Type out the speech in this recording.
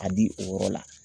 A di o yɔrɔ la